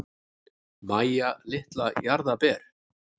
Mæja litla jarðarber.